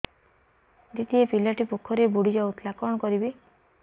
ଦିଦି ଏ ପିଲାଟି ପୋଖରୀରେ ବୁଡ଼ି ଯାଉଥିଲା କଣ କରିବି